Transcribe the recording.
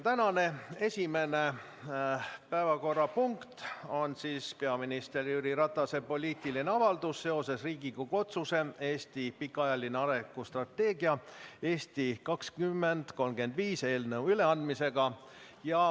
Tänane esimene päevakorrapunkt on peaminister Jüri Ratase poliitiline avaldus seoses Riigikogu otsuse "Eesti pikaajaline arengustrateegia "Eesti 2035"" eelnõu üleandmisega.